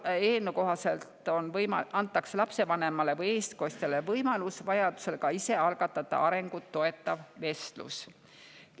Näiteks eelnõu kohaselt antakse lapsevanemale või eestkostjale võimalus vajadusel ka ise algatada arengut toetav vestlus.